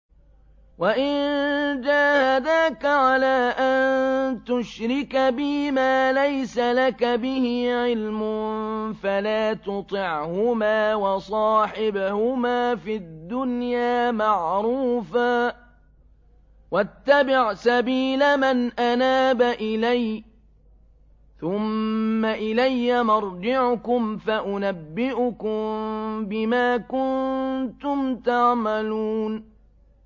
وَإِن جَاهَدَاكَ عَلَىٰ أَن تُشْرِكَ بِي مَا لَيْسَ لَكَ بِهِ عِلْمٌ فَلَا تُطِعْهُمَا ۖ وَصَاحِبْهُمَا فِي الدُّنْيَا مَعْرُوفًا ۖ وَاتَّبِعْ سَبِيلَ مَنْ أَنَابَ إِلَيَّ ۚ ثُمَّ إِلَيَّ مَرْجِعُكُمْ فَأُنَبِّئُكُم بِمَا كُنتُمْ تَعْمَلُونَ